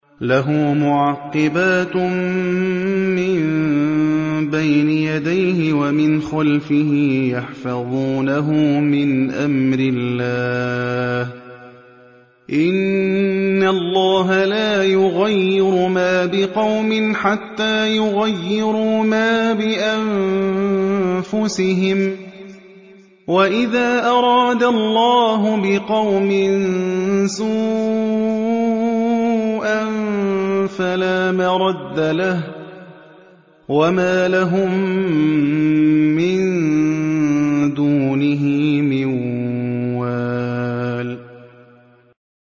لَهُ مُعَقِّبَاتٌ مِّن بَيْنِ يَدَيْهِ وَمِنْ خَلْفِهِ يَحْفَظُونَهُ مِنْ أَمْرِ اللَّهِ ۗ إِنَّ اللَّهَ لَا يُغَيِّرُ مَا بِقَوْمٍ حَتَّىٰ يُغَيِّرُوا مَا بِأَنفُسِهِمْ ۗ وَإِذَا أَرَادَ اللَّهُ بِقَوْمٍ سُوءًا فَلَا مَرَدَّ لَهُ ۚ وَمَا لَهُم مِّن دُونِهِ مِن وَالٍ